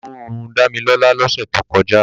Inú ń run Dámilọ́lá lọ́sẹ̀ tó kọjá.